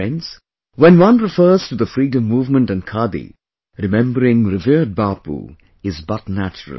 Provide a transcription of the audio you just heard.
Friends, when one refers to the freedom movement and Khadi, remembering revered Bapu is but natural